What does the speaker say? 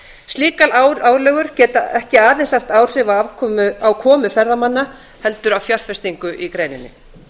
slíkar álögur geta ekki aðeins haft áhrif á komu ferðamanna heldur á fjárfestingu í greininni